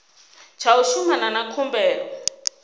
tsha u shumana na khumbelo